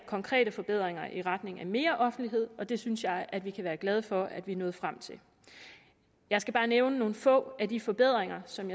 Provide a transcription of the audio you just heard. konkrete forbedringer i retning af mere offentlighed og det synes jeg at vi kan være glade for at vi er nået frem til jeg skal bare nævne nogle få af de forbedringer som